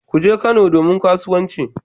Kuje Kano domin kasuwanci